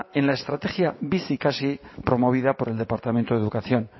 en la estrategia bizikasi promovida por el departamento de educación